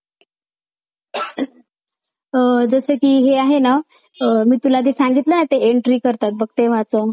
जसं कि हे आहे ना मी तुला ते सांगितलं ना ते entry करतात बघ तेव्हाचं.